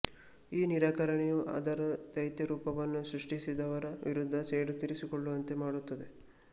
ಈ ನಿರಾಕರಣೆಯು ಅದರ ದೈತ್ಯ ರೂಪವನ್ನು ಸೃಷ್ಟಿಸಿದವರ ವಿರುದ್ಧ ಸೇಡು ತೀರಿಸಿಕೊಳ್ಳುವಂತೆ ಮಾಡುತ್ತದೆ